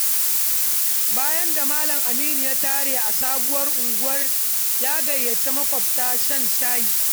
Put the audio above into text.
Bayan da Malam Aminu ya tare a sabuwar unguwar ya gayyaci makwabta shan shayi.